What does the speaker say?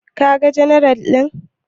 Kaga janar ɗin?